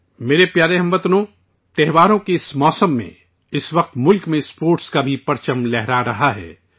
میرے پیارے ہم وطنو، تہواروں کے اس موسم میں، اس وقت ملک میں اسپورٹس کا بھی پرچم لہرا رہا ہے